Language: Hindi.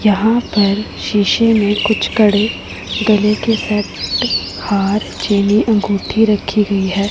यहां पर शीशे में कुछ कड़े गले के सेट हार चीनी अंगूठी रखी गई है।